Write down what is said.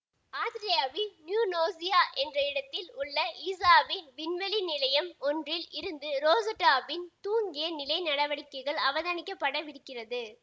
ஆத்திரேலியாவின் New Norcia என்ற இடத்தில் உள்ள ஈசாவின் விண்வெளி நிலையம் ஒன்றில் இருந்து ரொசெட்டாவின் தூங்கிய நிலை நடவடிக்கைகள் அவதானிக்கப்படவிருக்கிறது